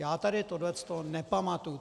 Já tady tohle nepamatuji.